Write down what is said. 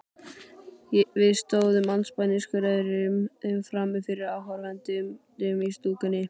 Við stóðum andspænis hvor öðrum frammi fyrir áhorfendunum í stúkunni.